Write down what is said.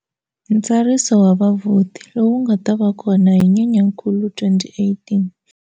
Ntsariso wa vavhoti lowu nga ta va kona hi Nyenyankulu 2018.